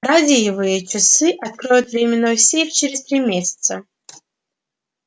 радиевые часы откроют временной сейф через три месяца